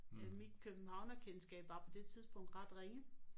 Mit københavnerkendskab var på det tidspunkt ret ringe